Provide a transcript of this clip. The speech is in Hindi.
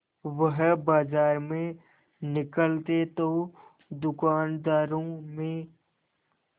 वह बाजार में निकलते तो दूकानदारों में